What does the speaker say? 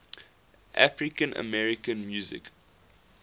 african american music